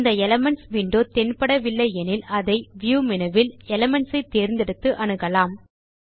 இந்த elements window தென்படவில்லை எனில் அதை வியூ மேனு வில் எலிமென்ட்ஸ் ஐ தேர்ந்தெடுத்து அணுகலாம்